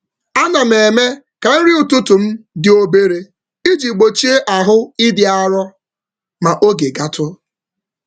M na-eme nri ụtụtụ m dị mfe ka dị mfe ka m ghara inwe ume ọgwụgwụ n’etiti ụtụtụ.